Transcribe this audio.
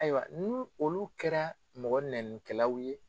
Ayiwa ni olu kɛra mɔgɔ neninikɛlaw ye